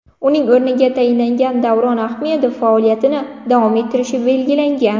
Uning o‘rniga tayinlangan Davron Ahmedov faoliyatini davom ettirishi belgilangan.